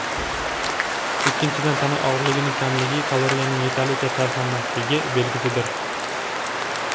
Ikkinchidan, tana og‘irligining kamligi kaloriyaning yetarlicha sarflanmasligi belgisidir.